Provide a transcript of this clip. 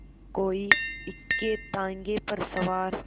कोई इक्केताँगे पर सवार